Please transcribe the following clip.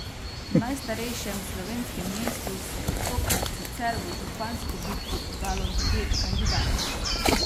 V najstarejšem slovenskem mestu se je tokrat sicer v župansko bitko podalo devet kandidatov.